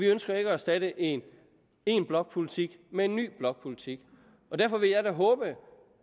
ønsker at erstatte én én blokpolitik med en ny blokpolitik derfor vil jeg da håbe